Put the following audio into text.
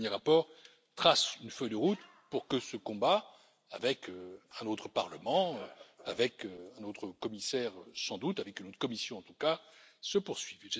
Ce dernier rapport trace une feuille de route pour que ce combat, avec un autre Parlement, avec sans doute un autre commissaire, avec une autre Commission en tout cas, se poursuive.